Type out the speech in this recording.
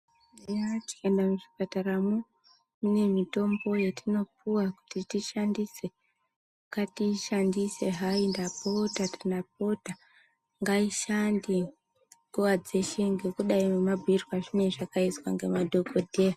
Taiti tikaenda muzvipataramo mune mitombo yatopuhwa kuti tishandise, ngatiishandise haindapota ndapota ngaishande nguva dzeshe ngekudai nemabhuirwa izvinenge zvakaizwa nemadhongodheya.